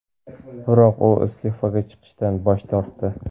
biroq u iste’foga chiqishdan bosh tortdi.